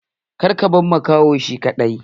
Kada ka bar makahon shi kaɗai!